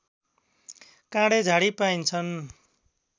काँडे झाडी पाइन्छन्